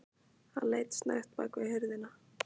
Hann leit snöggt bak við hurðina.